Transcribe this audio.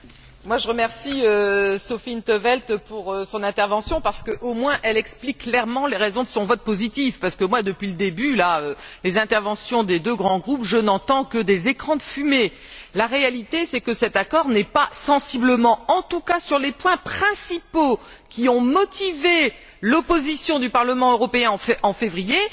Monsieur le Président, je remercie Sophia in't Veld pour son intervention. Au moins, elle explique clairement les raisons de son vote positif, parce que, depuis le début, avec les interventions des deux grands groupes, je n'entends que des écrans de fumée. La réalité, c'est que cet accord n'est pas sensiblement différent, en tout cas sur les points principaux qui ont motivé l'opposition du Parlement européen en février.